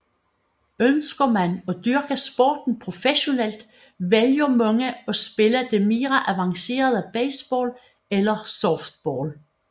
Ønsker man at dyrke sporten professionelt vælger mange at spille det mere avancerede baseball eller softball